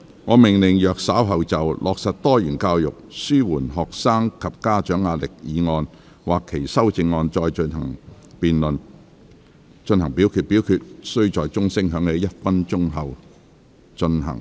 我命令若稍後就"落實多元教育紓緩學生及家長壓力"所提出的議案或修正案再進行點名表決，表決須在鐘聲響起1分鐘後進行。